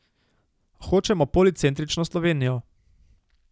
Hočemo policentrično Slovenijo.